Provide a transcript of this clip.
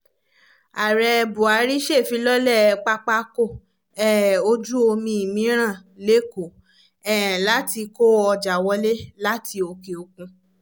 ààrẹ buhari ṣèfilọ́lẹ̀ pápákọ̀ um ojú omi mìíràn lẹ́kọ um láti kó ọjà wọlé láti òkè òkun